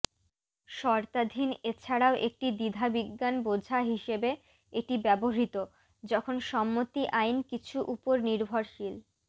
শর্তাধীন এছাড়াও একটি দ্বিধাবিজ্ঞান বোঝা হিসাবে এটি ব্যবহৃত যখন সম্মতি আইন কিছু উপর নির্ভরশীল